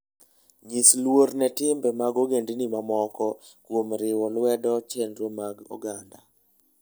Nyis luor ne timbe mag ogendini mamoko kuom riwo lwedo chenro mag oganda.